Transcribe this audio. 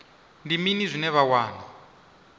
ndi mini zwine vha wana